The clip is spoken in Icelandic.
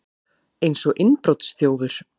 Eins og innbrotsþjófur!